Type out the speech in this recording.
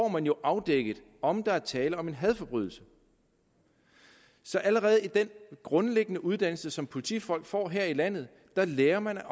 man jo afdækket om der er tale om en hadforbrydelse så allerede i den grundlæggende uddannelse som politifolk får her i landet lærer man